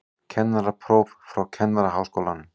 Kennarapróf frá Kennaraháskólanum